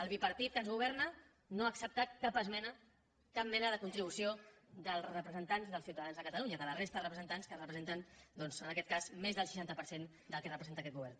el bipartit que ens governa no ha acceptat cap esmena cap mena de contribució dels representants dels ciutadans de catalunya de la resta de representants que representen doncs en aquest cas més del seixanta per cent del que representa aquest govern